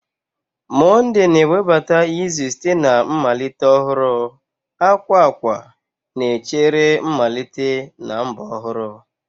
Monde na-ewebata izu site na mmalite ọhụrụ, akwa akwa na-echere mmalite na mbọ ọhụrụ